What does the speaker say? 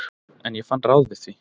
En ég fann ráð við því.